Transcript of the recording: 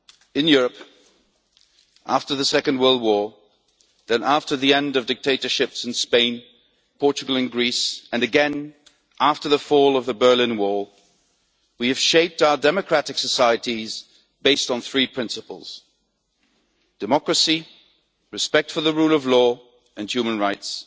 In Europe, after the Second World War, then after the end of dictatorships in Spain, Portugal and Greece, and again after the fall of the Berlin Wall, we have shaped our democratic societies on the basis of three principles democracy, respect for the rule of law, and human rights.